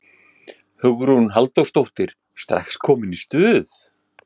Hugrún Halldórsdóttir: Strax komin í stuð?